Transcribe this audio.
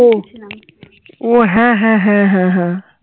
ওহ ওহ হ্যা হ্যা হ্যা হ্যা হ্যা